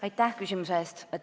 Aitäh küsimuse eest!